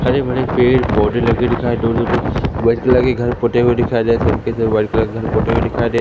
हरे-भरे पेड़ पौधे लगे दिखाई दो दो दो व्हाइट कलर के घर पुते हुए दिखाई दे सब के सब वाइट कलर के पुते हुए दिखाई दे --